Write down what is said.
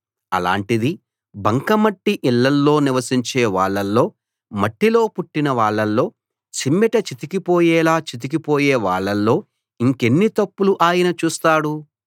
అలాంటిది బంకమట్టి ఇళ్ళలో నివసించే వాళ్ళలో మట్టిలో పుట్టిన వాళ్ళలో చిమ్మెట చితికిపోయేలా చితికిపొయే వాళ్ళలో ఇంకెన్ని తప్పులు ఆయన చూస్తాడు